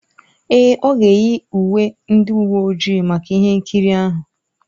Èè, ọ ga-eyi uwe ndị uwe ojii maka ihe nkiri ahụ.